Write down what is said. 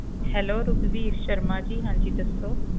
Hello Raghubir Sharma ji ਹਾਂਜੀ ਦੱਸੋ